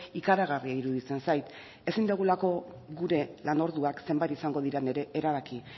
ikaragarria iruditzen zait ezin dugulako gure lan orduak zenbat izango diren ere erabaki